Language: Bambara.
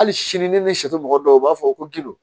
Hali sini ni shɛ mɔgɔ dɔw u b'a fɔ ko gindo